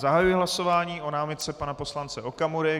Zahajuji hlasování o námitce pana poslance Okamury.